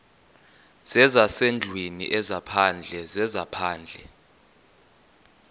zezasendlwini ezaphandle zezaphandle